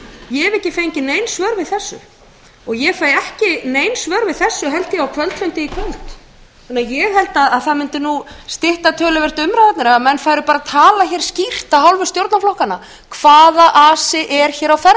ég hef ekki fengið nein svör við þessu og ég fæ ekki nein svör við þessu held ég á kvöldfundi í kvöld ég held að það mundi stytta töluvert umræðurnar ef menn færu bara að tala hér skýrt af hálfu stjórnarflokkanna hvaða asi er hér á